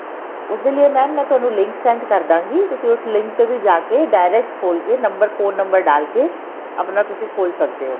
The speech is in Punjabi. ਉਸ ਦੇ ਲਿਏ mam ਮੈਂ ਤੁਹਾਨੂੰ link send ਕਰਦਾਗੀ ਤੁਸੀਂ ਉਸ link ਦੇ ਵਿੱਚ ਜਾ ਕੇ direct ਖੋਲਕੇ number phone number ਡਾਲ ਕੇ ਆਪਣਾ ਤੁਸੀਂ ਖੋਲ ਸਕਦੇ ਓ